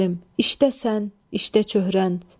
Səlim, işdə sən, işdə çöhrən.